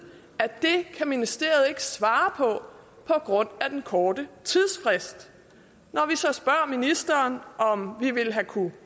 at det kan ministeriet ikke svare på grund af den korte tidsfrist når vi så spørger ministeren om vi ville have kunnet